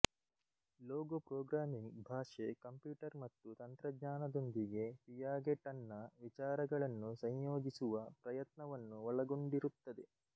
logo programming ಭಾಷೆ computer ಮತ್ತು ತಂತ್ರಜ್ಞಾನದೊಂದಿಗೆ ಪಿಯಾಗೆಟನ್ನ ವಿಚಾರಗಳನ್ನು ಸಂಯೋಜಿಸುವ ಪ್ರಯತ್ನವನ್ನು ಒಳಗೊಂಡಿರುತ್ತದೆ